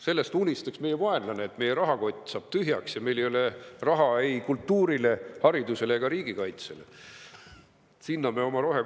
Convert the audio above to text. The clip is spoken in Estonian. Sellest, et meie rahakott saaks tühjaks ja meil ei oleks raha ei kultuuri, hariduse ega riigikaitse jaoks, unistaks meie vaenlane.